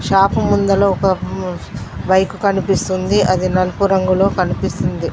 Shop ముందల ఒక bike కనిపిస్తుంది అది నల్పు రంగులో కనిపిస్తుంది.